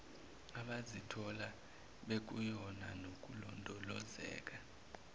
abazithola bekuyona nokulondolozeka